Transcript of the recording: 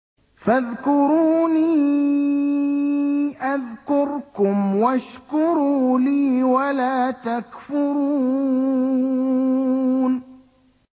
فَاذْكُرُونِي أَذْكُرْكُمْ وَاشْكُرُوا لِي وَلَا تَكْفُرُونِ